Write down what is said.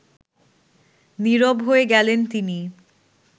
নীরব হয়ে গেলেন তিনি